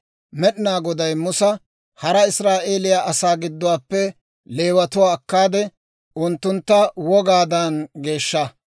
«Hara Israa'eeliyaa asaa gidduwaappe Leewatuwaa akkaade, unttuntta wogaadan geeshsha.